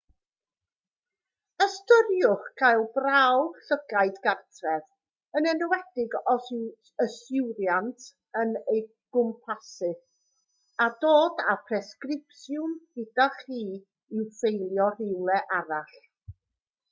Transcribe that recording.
ystyriwch gael prawf llygaid gartref yn enwedig os yw yswiriant yn ei gwmpasu a dod â'r presgripsiwn gyda chi i'w ffeilio rywle arall